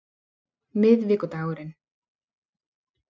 miðvikudagurinn